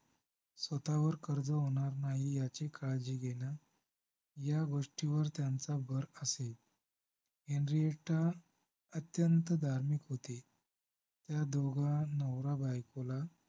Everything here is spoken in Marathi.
स्वतःवर कर्ज होणार नाही याची काळजी घेणं या गोष्टीवर त्यांचा भर असायचा. हेनरीटा अत्यंत धार्मिक होती त्या दोघा नवराबायकोला